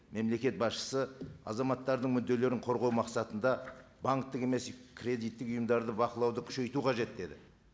мемлекет басшысы азаматтардың мүдделерін қорғау мақсатында банктік емес кредиттік ұйымдарды бақылауды күшейту қажет деді